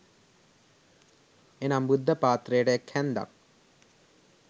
එනම්, බුද්ධ පාත්‍රයට එක් හැන්දක්,